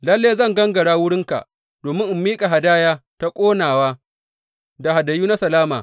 Lalle zan gangara wurinka domin in miƙa hadaya ta ƙonawa da hadayu na salama.